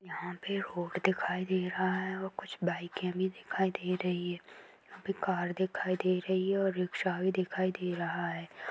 यहाँ पे रोड दिखाई दे रहा है कुछ बाइके भी दिखाई दे रही है यहाँ पे कार दिखाई दे रही है ओर रिक्शा भी दिखाई दे रहा है।